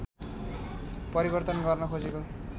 परिवर्तन गर्न खोजेको